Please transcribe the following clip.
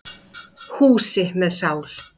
Húsi með sál.